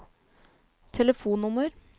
telefonnummer